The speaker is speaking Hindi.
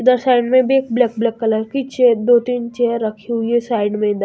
उधर साइड में भी एक ब्लैक ब्लैक कलर की चेयर दो तीन चेयर रखी हुई है साइड में इधर।